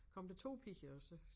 Kom der 2 piger og så